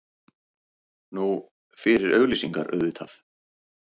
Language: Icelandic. Nú, fyrir auglýsingar, auðvitað.